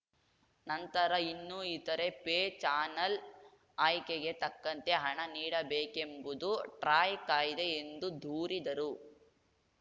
ನಂತರ ಇನ್ನೂ ಇತರೆ ಪೇ ಚಾನಲ್‌ ಆಯ್ಕೆಗೆ ತಕ್ಕಂತೆ ಹಣ ನೀಡಬೇಕೆಂಬುದು ಟ್ರಾಯ್‌ ಕಾಯ್ದೆ ಎಂದು ದೂರಿದರು